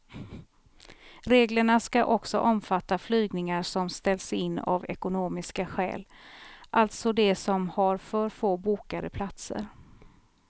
Reglerna ska också omfatta flygningar som ställs in av ekonomiska skäl, alltså de som har för få bokade platser.